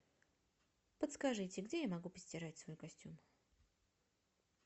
подскажите где я могу постирать свой костюм